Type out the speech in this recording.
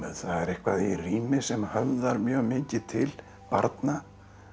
það er eitthvað í rími sem höfðar mjög mikið til barna